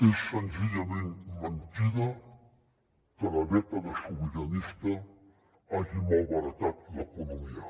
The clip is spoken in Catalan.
és senzillament mentida que la dècada sobiranista hagi malbaratat l’economia